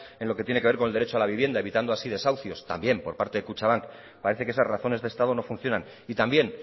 en lo que tiene que ver con el derecho a la vivienda evitando así desahucios también por parte de kutxabank parece que esas razones de estado no funcionan y también